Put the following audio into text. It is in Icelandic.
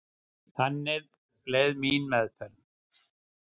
Þannig leið mín meðferð.